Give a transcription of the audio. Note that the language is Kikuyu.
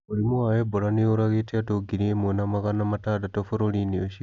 Mũrimũ wa Ebola nĩ ũragĩte andũ ngiri ĩmwe na magana matandatũ bũrũri-inĩ ũcio.